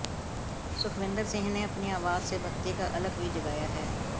सुखविंदर सिंह ने अपनी आवाज़ से भक्ति का अलख भी जगाया है